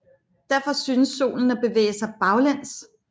Derfor synes Solen at bevæge sig baglæns